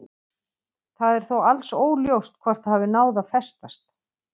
Það er þó alls óljóst hvort það hafi náð að festast.